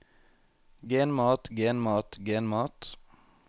genmat genmat genmat